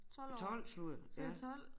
12 sludder ja